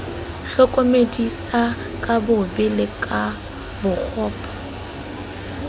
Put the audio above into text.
hlokomedisa ka bobe le bokgopo